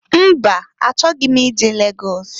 Mba! Achọghị m ije Lagọs.